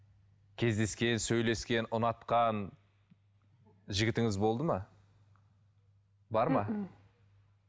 кездескен сөйлескен ұнатқан жігітіңіз болды ма бар ма